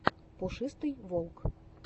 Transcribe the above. пушистый волк